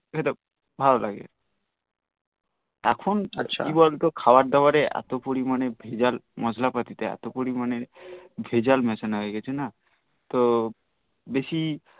ভাল লাগে এখন আর কি বলত খাবার দাবারে এতো পরিমান্রে মসলা পাতি দেই এতো পরিমানে ভেজাল মেসান হয়ে গিএছে না তো বেশি খেতে ভাল লাগে